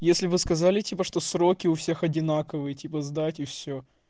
если вы сказали типа что сроки у всех одинаковые типа сдать и все